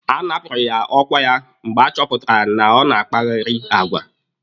A napụrụ ya ọkwa ya mgbe a chọpụtara na ọ na-akpagheri agwa.